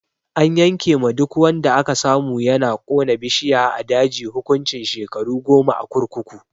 An yanke ma duk wanda aka samu yana kona bishiya a daji hukuncin shekaru goma a kurkuku.